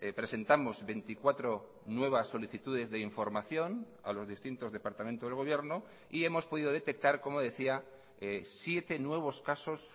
presentamos veinticuatro nuevas solicitudes de información a los distintos departamentos del gobierno y hemos podido detectar como decía siete nuevos casos